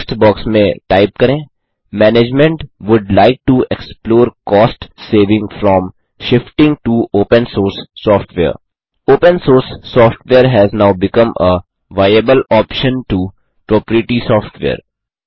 text box में type करें management would like to explore cost saving from shifting to open source software open source software has now become a viable option to proprietary software